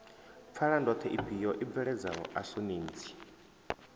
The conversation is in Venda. pfalandoḓhe ifhio i bveledzaho asonentsi